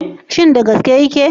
Shin da gaske yake?